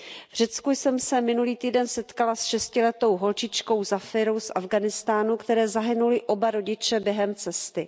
V Řecku jsem se minulý týden setkala s šestiletou holčičkou Zafirou z Afghánistánu, které zahynuli oba rodiče během cesty.